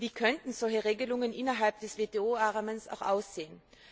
Wie könnten solche Regelungen innerhalb des WTO Rahmens aussehen?